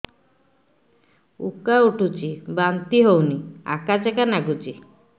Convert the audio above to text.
ଉକା ଉଠୁଚି ବାନ୍ତି ହଉନି ଆକାଚାକା ନାଗୁଚି